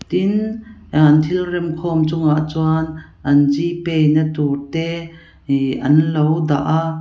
tin ah an thil rem khawm chungah chuan an g pay na tur te ihh an lo dah a.